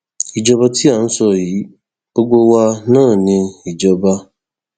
ìjọba tí à ń sọ yìí gbogbo wa náà ni ìjọba